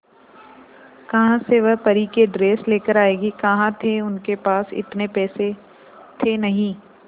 कहां से वह परी की ड्रेस लेकर आएगी कहां थे उनके पास इतने पैसे थे नही